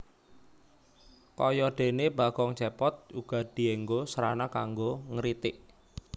Kaya dene Bagong Cepot uga dienggo srana kanggo ngritik